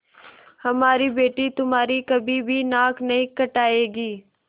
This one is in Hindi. हमारी बेटी तुम्हारी कभी भी नाक नहीं कटायेगी